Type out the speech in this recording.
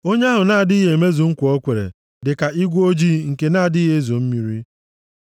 Onye ahụ na-adịghị emezu nkwa o kwere dịka igwe ojii nke na-adịghị ezo mmiri.